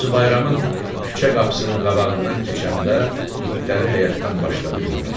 Hacı Bayramın küçə qapısının qabağından keçəndə itləri həyətdən başladı hürməyə.